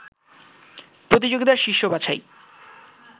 প্রতিযোগিতার শীর্ষ বাছাই